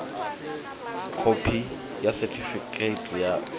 khophi yo sethifaiwaho ya ḽi